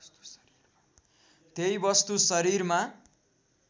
त्यही वस्तु शरीरमा